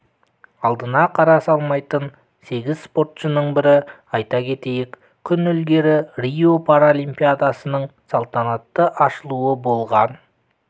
алдына қара салмайтын сегіз спортшының бірі айта кетейік күн ілгері рио паралимпиадасының салтанатты ашылуы болған